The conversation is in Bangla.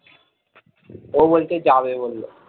ও বলছে যাবে বলল ।